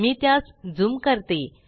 मी त्यास ज़ूम करते